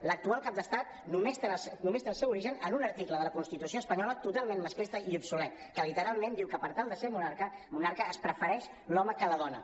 l’actual cap d’estat només té el seu origen en un article de la constitució espanyola totalment masclista i obsolet que literalment diu que per tal de ser monarca es prefereix l’home que la dona